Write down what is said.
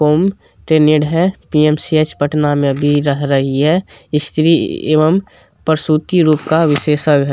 PMCH Patna में अभी रह रही हैं स्त्री एवं प्रस्तुति रोग का विशेषज्ञ है ये-----